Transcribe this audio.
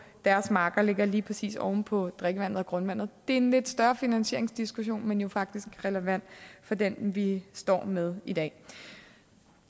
deres marker ligger lige præcis oven på drikkevandet og grundvandet det er en lidt større finansieringsdiskussion men jo faktisk relevant for den vi står med i dag